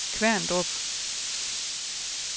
Kværndrup